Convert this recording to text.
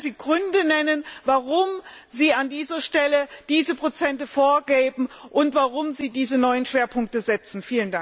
Können Sie vielleicht Gründe nennen, warum Sie an dieser Stelle diese Prozente vorgeben und warum Sie diese neuen Schwerpunkte setzen?